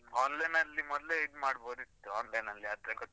Online ಅಲ್ಲಿ ಮೊದ್ಲೇ ಇದ್ ಮಾಡ್ಬೋದಿತ್ತು, online ಅಲ್ಲಿ ಆದ್ರೆ ಗೊತ್ತು.